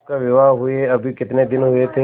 उसका विवाह हुए अभी कितने दिन हुए थे